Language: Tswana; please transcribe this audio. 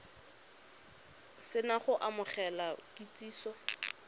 se na go amogela kitsiso